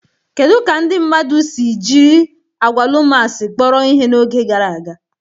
Kedu ka ndị mmadụ si jiri agwalumas kpọrọ ihe n'oge gara aga?